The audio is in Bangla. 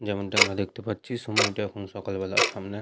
যেমনটা আমরা দেখতে পাচ্ছি সময়টা এখন সকালবেলা সামনে।